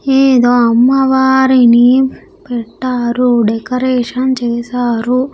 ఏదో అమ్మవారిని పెట్టారు డెకరేషన్ చేశారు.